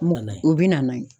U bɛ na n'a ye.